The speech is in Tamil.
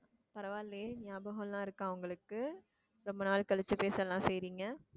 பரவாயில்லையே ஞாபகம் எல்லாம் இருக்கா உங்களுக்கு ரொம்ப நாள் கழிச்சு பேச எல்லாம் செய்யறீங்க